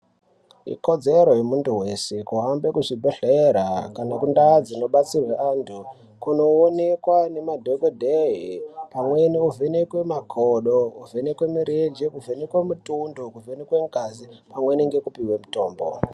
Ikodzero yemuntu wrshe kuhambe kuzvibhedhlera kana kundau dzinobatsirwa antu kunoonekwa nemadhokodhe pamweni wovhekwe makodo, kuvhenekwe mirenje, kuvhenekwe mutundu, kuvhenekwe ngazi, pamwe nekupihwa mutombo.